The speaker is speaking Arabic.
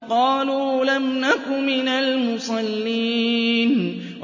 قَالُوا لَمْ نَكُ مِنَ الْمُصَلِّينَ